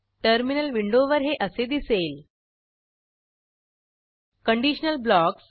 terminal विंडोवर हे असे दिसेल